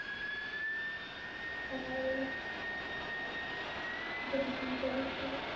সকাল হলে